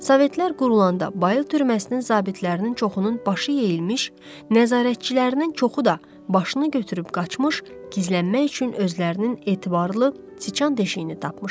Sovetlər qurulanda bayıl türməsinin zabitlərinin çoxunun başı yeyilmiş, nəzarətçilərinin çoxu da başını götürüb qaçmış, gizlənmək üçün özlərinin etibarlı, siçan deşiyini tapmışdı.